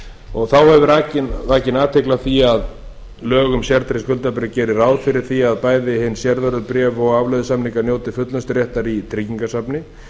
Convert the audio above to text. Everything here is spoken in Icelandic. laganna þá hefur verið vakin athygli á því að lög um sértryggð skuldabréf geri ráð fyrir að bæði hin sértryggðu skuldabréf og afleiðusamningar njóti fullnusturéttar í tryggingasafni